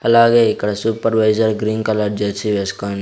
అలాగే ఇక్కడ supervisor green colour jersey వేసుకొన్--